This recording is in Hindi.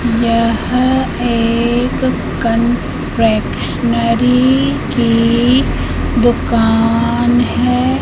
यह एक कन्फेक्शनरी की दुकान है।